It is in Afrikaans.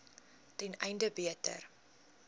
ten einde beter